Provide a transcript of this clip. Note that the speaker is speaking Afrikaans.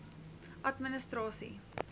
administrasie